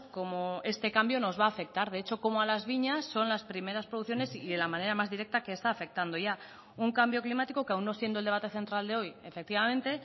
cómo este cambio nos va a afectar de hecho cómo a las viñas son las primeras producciones y en la manera más directa que está afectando ya un cambio climático que aun no siendo el debate central de hoy efectivamente